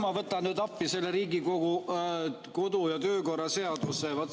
Ma võtan nüüd appi Riigikogu kodu‑ ja töökorra seaduse.